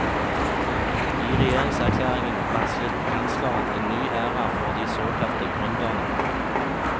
I regjeringserklæringen varslet kansleren en ny æra for de såkalte gründerne.